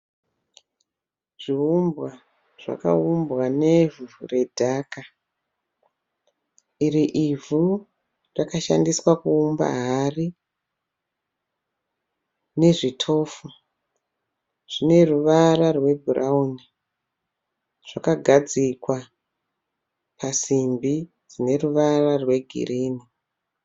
Zviumbwa zvakaumbwa nevhu redhaka. Iri ivhu rakashandiswa kuumba hari nezvitofu zvineruvara rwebhurauni. Zvakagadzikwa pasimbi dzineruvara rwegirini.